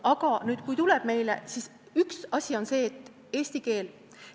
Aga kui inimene tuleb meile, siis üks asi on eesti keele oskus.